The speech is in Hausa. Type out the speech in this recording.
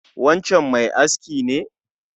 Wancan mai aski ne?